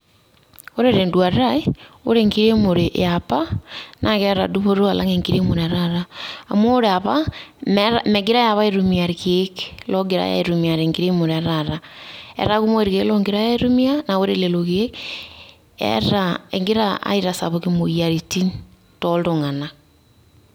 Ore te enduata ai, ore enkiremore e apa naa keeta dupoto alang' enkiremore etaata. Amu ore apa meetai megirai apa aitumia irkeek loogirai aitumia te enkiremore etaata, etaa kumok irkeek oogirai aitumia naa ore lelo keek eeta, egira aitasapuk imoyiaritin toltung'anak.